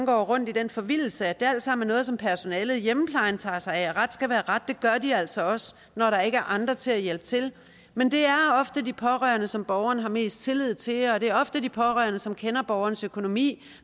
går rundt i den forvildelse at det alt sammen er noget som personalet i hjemmeplejen tager sig af ret skal være ret det gør de altså også når der ikke er andre til at hjælpe til men det er ofte de pårørende som borgeren har mest tillid til og det er ofte de pårørende som kender borgerens økonomi